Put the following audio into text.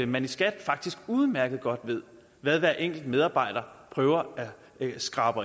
man i skat faktisk udmærket godt ved hvad hver enkelt medarbejder prøver at skrabe